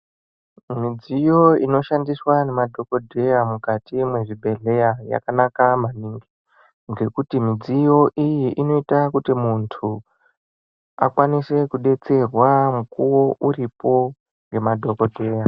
Midziyo inoshandiswa ngemadhokodheya mukati mwezvibhedhleya yakanaka maningi ngokuti midziyo iyi inoita kuti muntu akwanise kudetserwa mukuwo uripo ngemadhokodheya.